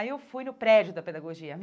Aí eu fui no prédio da pedagogia me.